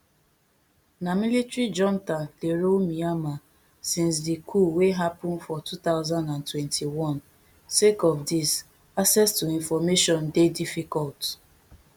na military junta dey rule myanmar since di coup wey happun for two thousand and twenty-one sake of dis access to information dey difficult